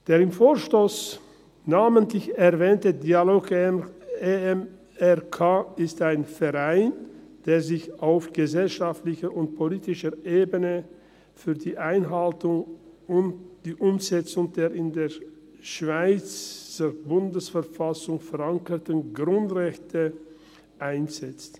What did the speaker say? Der im Vorstoss namentlich erwähnte «Dialog EMRK» ist ein Verein, der sich auf gesellschaftlicher und politischer Ebene für die Einhaltung und die Umsetzung der in der Schweizer Bundesverfassung verankerten Grundrechte einsetzt.